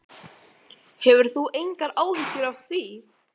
Hefur þú engar áhyggjur af því?